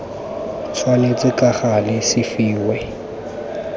tshwanetse ka gale se fiwe